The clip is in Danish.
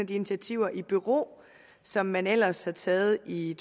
de initiativer i bero som man ellers har taget i